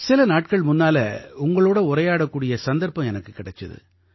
சில நாட்கள் முன்னால உங்களோட உரையாடக்கூடிய சந்தர்ப்பம் எனக்கு கிடைச்சுது